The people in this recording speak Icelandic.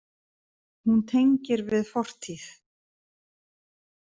Hún tengir við fortíð.